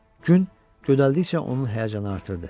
Gün gödəldikcə onun həyəcanı artırdı.